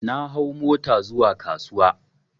Na hau mota zuwa kasuwa